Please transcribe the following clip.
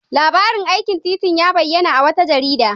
Labarin aikin titin ya bayyana a wata jarida.